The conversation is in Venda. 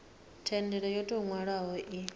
thendelo yo tou nwalwaho i